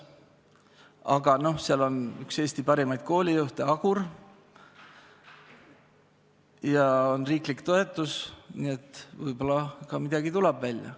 Aga seal on üks Eesti parimaid koolijuhte, Hendrik Agur, ja on riiklik toetus, nii et võib-olla tuleb midagi välja.